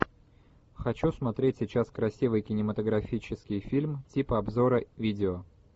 хочу смотреть сейчас красивый кинематографический фильм типа обзора видео